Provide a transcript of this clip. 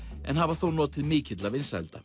en hafa þó notið mikilla vinsælda